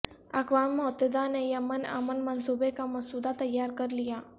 اقوام متحدہ نے یمن امن منصوبے کا مسودہ تیار کرلیا